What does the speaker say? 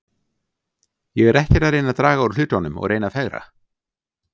Ég er ekkert að reyna að draga úr hlutunum og reyna að fegra.